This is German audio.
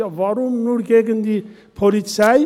Ja, warum nur gegen die Polizei?